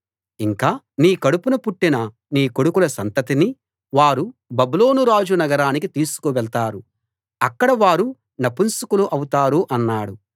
ఇంకా నీ కడుపున పుట్టిన నీ కొడుకుల సంతతిని వారు బబులోను రాజు నగరానికి తీసుకు వెళ్తారు అక్కడ వారు నపుంసకులు అవుతారు అన్నాడు